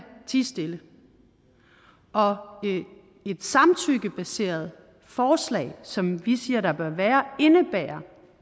tie stille og et samtykkebaseret forslag som vi siger der bør være indebærer